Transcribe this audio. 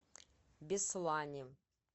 беслане